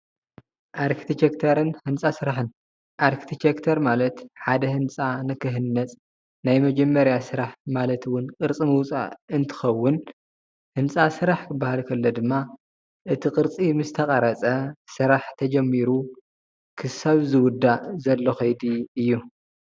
ኣርክቴክቸርን ህንጻ ስራሕን፥- ኣርክቴክቸር ማለት ሓደ ህንፃ ንክህነፅ ናይ መጀመርታ ስራሕ ማለት እውን ቅርፂ ምውፃእ እንትከውን ህንፃ ስራሕ ክበሃል ከሎ ድማ እቲ ቅርፂ ምስተቀረፀ ስራሕ ተጀሚሩ እስካብ ዝውዳእ ዘሎ ከይዲ እዩ።